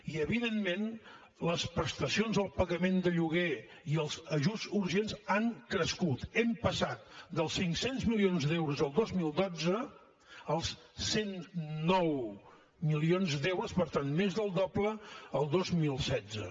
i evidentment les prestacions al pagament de lloguer i els ajuts urgents han crescut hem passat dels cinc cents milions d’euros el dos mil dotze als cent i nou milions d’euros per tant més del doble el dos mil setze